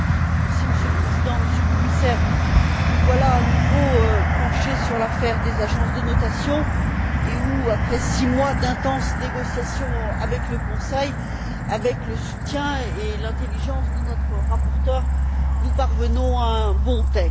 Monsieur le Président, Monsieur le Commissaire, nous voilà, à nouveau, penchés sur le dossier des agences de notation où, après six mois d'intenses négociations avec le Conseil, avec le soutien et l'intelligence de notre rapporteur, nous parvenons à un bon texte.